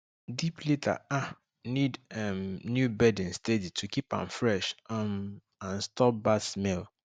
deep litter um need um new bedding steady to keep am fresh um and stop bad smell